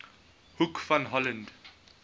hoek van holland